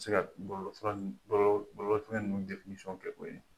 bɛ se ka bɔlɔlɔsira ninnu bɔlɔlɔ bɔlɔlɔsira ninnu kɛ o ye.